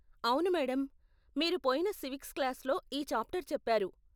అవును మేడం. మీరు పోయిన సివిక్స్ క్లాస్లో ఈ చాప్టర్ చెప్పారు.